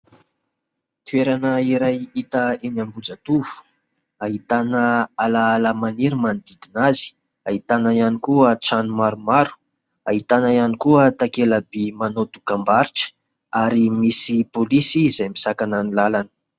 Toerana iray hita eny Ambohijatovo. Ahitana alaala maniry manodidina azy. Ahitana ihany koa trano maromaro, ahitana ihany koa takelaby manao dokam-barotra ary misy pôlisy izay misakana ny lalana.